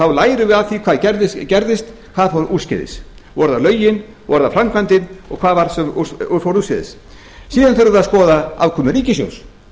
þá lærum við af því hvað gerðist hvað fór úrskeiðis voru það lögin var það framkvæmdin hvað var það sem fór úrskeiðis síðan þurfum við að skoða afkomu ríkissjóðs